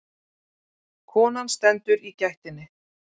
Konan stendur í gættinni.